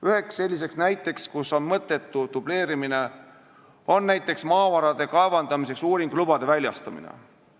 Üks näide, kus on mõttetu dubleerimine, on maavarade kaevandamiseks uuringulubade väljastamine.